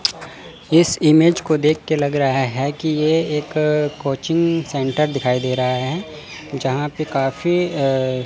इस इमेज़ को देखके लग रहा है की ये एक कोचिंग सेंटर दिखाई दे रहा हैं जहां पे काफी अं--